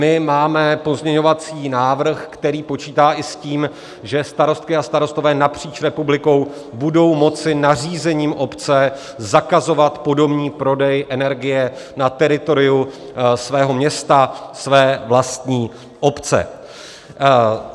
My máme pozměňovací návrh, který počítá i s tím, že starostky a starostové napříč republikou budou moci nařízením obce zakazovat podomní prodej energie na teritoriu svého města, své vlastní obce.